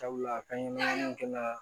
Sabula kan ɲɛnɛma kɛla